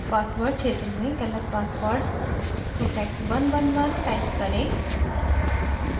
password क्षेत्र में गलत password protect111 type करें